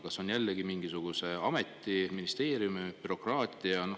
Kas on jällegi mingisuguse ameti, ministeeriumi bürokraatia?